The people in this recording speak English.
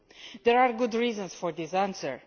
There are good reasons for this answer.